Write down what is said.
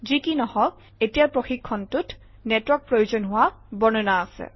যি কি নহওক এতিয়াৰ প্ৰশিক্ষণটোত নেটৱৰ্ক প্ৰয়োজন হোৱা বৰ্ণনা আছে